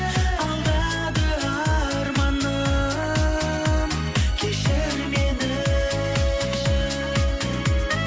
алдады арманым кешір мені